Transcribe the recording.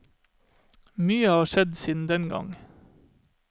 Mye har skjedd siden den gang.